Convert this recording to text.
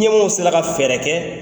Ɲɛmɔgɔw sera ka fɛɛrɛ kɛ.